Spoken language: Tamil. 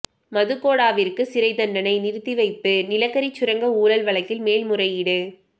மதுகோடாவிற்கு சிறை தண்டனை நிறுத்தி வைப்பு நிலக்கரி சுரங்க ஊழல் வழக்கில் மேல் முறையீடு